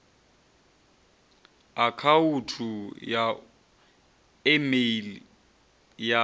akhauthu ya e meili ya